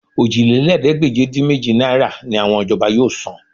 Òjìlélẹ́ẹ̀ẹ́dégbèje-dín-méjì náírà ni àwọn ìjọba yóò san